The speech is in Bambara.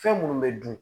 Fɛn minnu bɛ dun